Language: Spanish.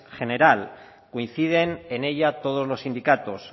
general coinciden en ella todos los sindicatos